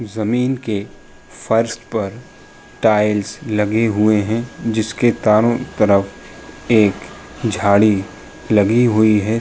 जमींन के फर्श पर टाइल्स लगे हुए हैं। जिसके तारों तरफ एक झाड़ी लगी हुई है।